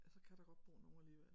Ja så kan der godt bo nogen alligevel